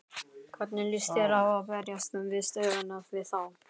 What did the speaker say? Hvernig lýst þér á að berjast við stöðuna við þá?